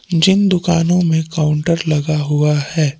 जिन दुकानों में काउंटर लगा हुआ है।